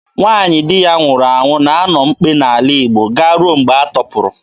Nwaanyị di ya nwụrụ na-anọ mkpe n'ala Igbo garuo mgbe a tọpụrụ.